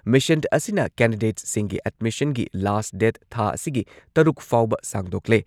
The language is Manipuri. ꯃꯤꯁꯟ ꯑꯁꯤꯅ ꯀꯦꯟꯗꯤꯗꯦꯠꯁꯤꯡꯒꯤ ꯑꯦꯗꯃꯤꯁꯟꯒꯤ ꯂꯥꯁ ꯗꯦꯠ ꯊꯥ ꯑꯁꯤꯒꯤ ꯇꯔꯨꯛ ꯐꯥꯎꯕ ꯁꯥꯡꯗꯣꯛꯂꯦ ꯫